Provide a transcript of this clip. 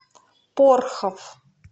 порхов